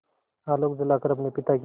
आलोक जलाकर अपने पिता की